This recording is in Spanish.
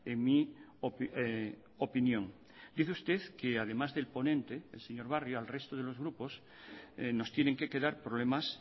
en mi opinión dice usted que además del ponente el señor barrio al resto de los grupos nos tienen que quedar problemas